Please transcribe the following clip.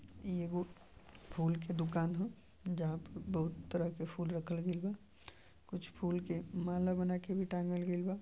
इ एगो फूल के दुकान ह जहां पे बहुत तरह के फूल रखल गइल बा। कुछ फूल के माला बना के भी टाँगल गइल बा।